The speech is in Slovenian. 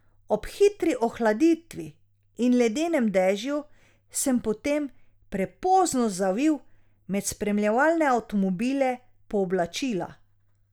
Ob hitri ohladitvi in ledenem dežju sem potem prepozno zavil med spremljevalne avtomobile po oblačila.